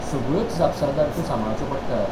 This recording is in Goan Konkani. सगळ्योच जापसालदारक्यो सांबाळच्यो पडटात.